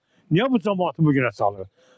Niyə bu camaatı bu günə salır?